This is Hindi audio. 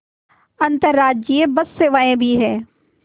अंतर्राज्यीय बस सेवाएँ भी हैं